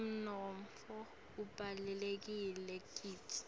umnotfo ubalulekile kitsi